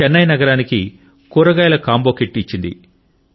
చెన్నై నగరానికి కూరగాయల combo kit ఇచ్చింది